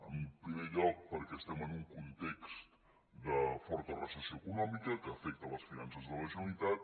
en primer lloc perquè estem en un context de forta recessió econòmica que afecta les finances de la generalitat